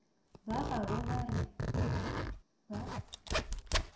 ba gabo ba re ba